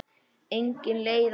Engin leið að hætta.